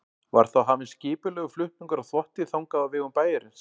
Var þá hafinn skipulegur flutningur á þvotti þangað á vegum bæjarins.